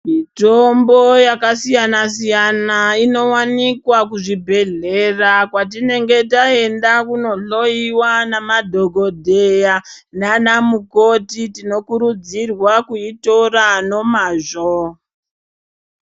Mitombo yakasiyana siyana inowanikwa muzvibhedhlera kwatinenge taenda kunohloyiwa nemadhokodheya nana mukoti tinokurudzirwa kuitora nemazvo.